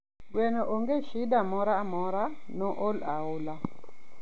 Gweno onge shida amora mora, nool aola